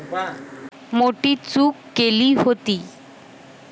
मोठी चूक केली होती.